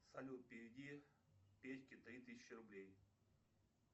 салют переведи петьке три тысячи рублей